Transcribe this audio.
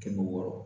Kɛmɛ wɔɔrɔ